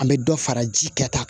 An bɛ dɔ fara ji kɛta kan